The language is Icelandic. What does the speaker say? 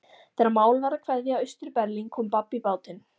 Þegar mál var að kveðja Austur-Berlín kom babb í bátinn.